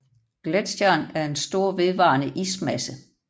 Gletsjeren er en stor vedvarende ismasse